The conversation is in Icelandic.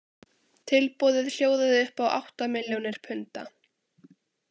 Tilboðið hljóðaði upp á átta milljónir punda.